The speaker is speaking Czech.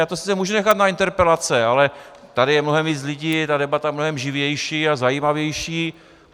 Já to sice můžu nechat na interpelace, ale tady je mnohem víc lidí, ta debata je mnohem živější a zajímavější.